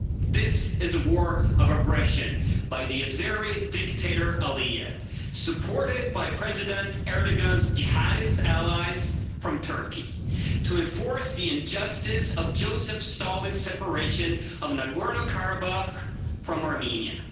This is a war of aggression by the Azeri dictator Aliyev, supported by President Erdoğan's Jihadist allies from Turkey to enforce the injustice of Joseph Stalin's separation of Nagorno-Karabakh from Armenia.